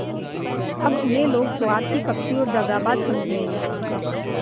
अब उन्हें लोग स्वार्थी कपटी और दगाबाज समझेंगे